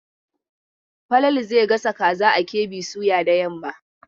Falalu zai gasa kaza a KB soya da yamma.